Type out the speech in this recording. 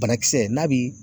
Banakisɛ n'a bi